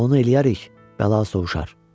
Onu eləyərik, bəla sovşar.